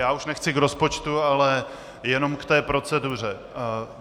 Já už nechci k rozpočtu, ale jenom k té proceduře.